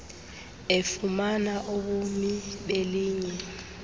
efumana ubumi belinye